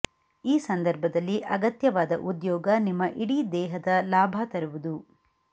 ಈ ಸಂದರ್ಭದಲ್ಲಿ ಅಗತ್ಯವಾದ ಉದ್ಯೋಗ ನಿಮ್ಮ ಇಡೀ ದೇಹದ ಲಾಭ ತರುವುದು